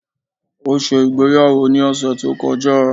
O ṣé ìgbéyàwó ní ọ̀sẹ̀ to kọjá